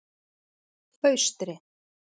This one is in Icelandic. Austri